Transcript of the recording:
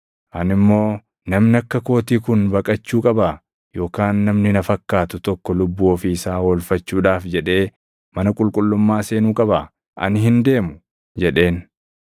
Ani immoo, “Namni akka kootii kun baqachuu qabaa? Yookaan namni na fakkaatu tokko lubbuu ofii isaa oolfachuudhaaf jedhee mana qulqullummaa seenuu qabaa? Ani hin deemu!” jedheen.